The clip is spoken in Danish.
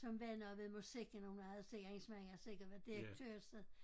Som var noget ved musikken og hun havde sikkert hendes mand havde sikkert været direktør et sted